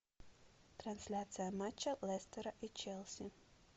трансляция матча лестера и челси